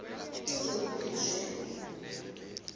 kuze kube nje